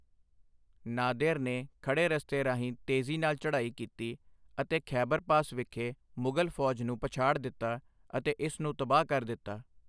Nader ਨੇ ਖੜੇ ਰਸਤੇ ਰਾਹੀਂ ਤੇਜ਼ੀ ਨਾਲ ਚੜ੍ਹਾਈ ਕੀਤੀ ਅਤੇ ਖੈਬਰ ਪਾਸ ਵਿਖੇ ਮੁਗ਼ਲ ਫੌਜ ਨੂੰ ਪਛਾੜ ਦਿੱਤਾ ਅਤੇ ਇਸ ਨੂੰ ਤਬਾਹ ਕਰ ਦਿੱਤਾ।